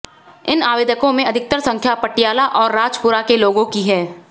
इन आवेदकों में अधिकतर संख्या पटियाला और राजपुरा के लोगों की है